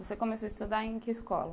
Você começou a estudar em que escola?